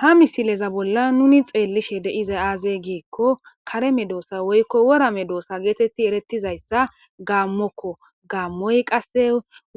ha misileza bolla nuni xeellishe de'izay aaze giikko kare medoossa woykko worame doosa geetetti erettizayssa gaammokko gaammoy qasse